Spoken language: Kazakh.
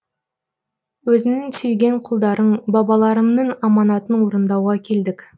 өзіңнің сүйген құлдарың бабаларымның аманатын орындауға келдік